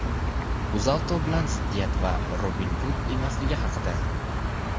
"UzAuto" bilan ziddiyat va "Robin Hud emasligi" haqida.